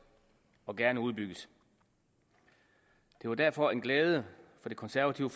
og gerne udbygges det var derfor en glæde for det konservative